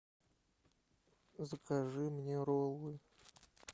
закажи мне роллы